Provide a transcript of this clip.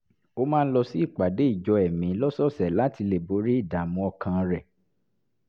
ó máa ń lọ sí ìpàdé ìjọ ẹ̀mí lọ́sọ̀ọ̀sẹ̀ láti lè borí ìdààmú ọkàn rẹ̀